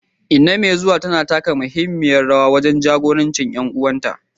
Inna mai zuwa tana tunanin taka muhimmiyar rawa wajen jagorancin ƴan uwanta.